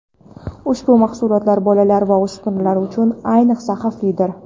Ushbu mahsulotlar bolalar va o‘spirinlar uchun, ayniqsa, xavflidir.